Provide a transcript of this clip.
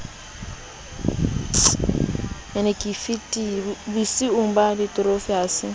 bosiyong ba lefitori ha se